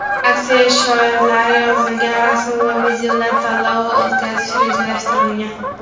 aksiya shiorlari yozilgan rasm va videolar tanlovi o‘tkazish rejalashtirilgan.